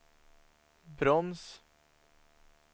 broms